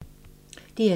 DR2